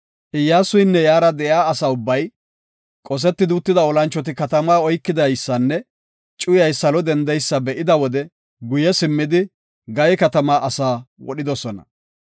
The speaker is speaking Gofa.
Iyyasunne iyara de7iya asa ubbay, qoseti uttida olanchoti katamaa oykidaysanne cuyay salo dendidaysa be7ida wode guye simmidi, Gaye katamaa asaa wodhidosona.